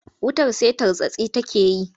Wutar sai tartsatsi take yi.